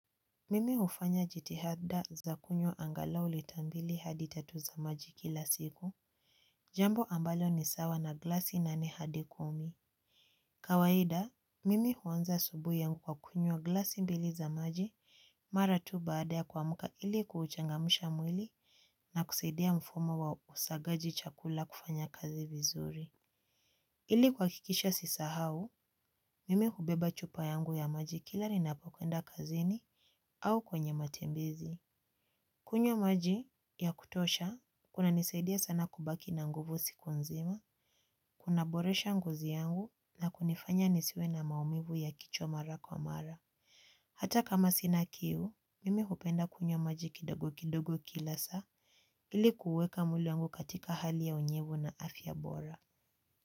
Mimi hufanya jitihada za kunywa angalau lita mbili hadi tatu za maji kila siku. Jambo ambalo ni sawa na glasi nane hadi kumi. Kawaida, mimi huanza asubuhi yangu kwa kunywa glasi mbili za maji. Mara tu baada ya kuamka ili kuchangamsha mwili. Na kusaidia mfumo wa usagaji chakula kufanya kazi vizuri. Ili kuhakikisha asisahau, mimi hubeba chupa yangu ya maji kila ninapokwenda kazini. Au kwenye matembezi kunyw maji ya kutosha, kunanisaidia sana kubaki na nguvu siku nzima, kunaboresha ngozi yangu na kunifanya nisiwe na maumivu ya kichwa mara kwa mara. Hata kama sina kiu, mimi hupenda kunywa maji kidogo kidogo kila saa ili kuweka mwili wangu katika hali ya unyevu na afya bora.